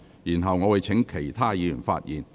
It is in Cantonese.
然後，我會請其他議員發言。